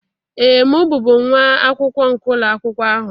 Ee, m bụbu nwa akwụkwọ nke ụlọ akwụkwọ ahụ